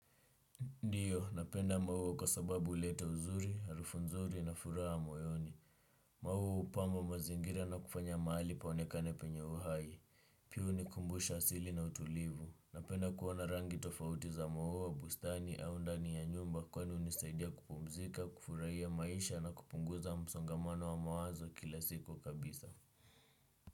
Ndiyo, napenda maua kwa sababu hulete uzuri, harufu nzuri na furaha moyoni. Maua hupama mazingira na kufanya mahali paonekane penye uhai. Pia hunikumbusha asili na utulivu. Napenda kuona rangi tofauti za maua bustani au ndani ya nyumba kwani hunisaidia kupumzika, kufurahia maisha na kupunguza msongamano wa mawazo kila siku kabisa.